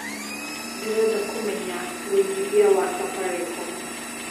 ndĩreda kũmenya wĩigĩthĩa wa safaricom